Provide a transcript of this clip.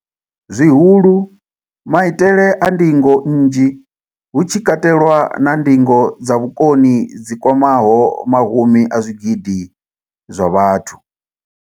Zwihulu, maitele a ndingo nnzhi, hu tshi katelwa na ndingo dza vhukoni dzi kwamaho mahumi a zwigidi zwa vhathu.